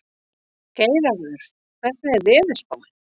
Geirarður, hvernig er veðurspáin?